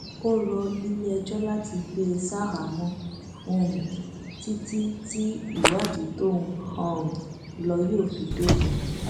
ó rọ iléẹjọ láti gbé e ṣaháàmọ um títí tí ìwádìí tó ń um lọ yóò fi dópin